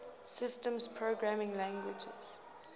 systems programming languages